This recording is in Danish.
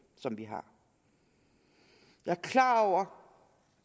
vi har jeg er klar over